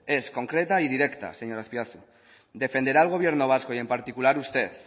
es concreta y directa señor azpiazu defenderá el gobierno vasco y en particular usted